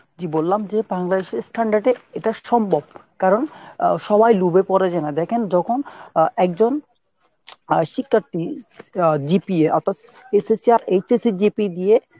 জি বললাম যে বাংলাদেশের standard এ এটা সম্ভব কারণ আহ সবাই লোভে পরে যে না দেখেন যখন আহ একজন আহ শিক্ষার্থী আহ GPA SSC আর HSC GP দিয়ে